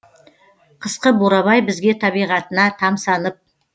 қысқы бурабай бізге табиғатына тамсанып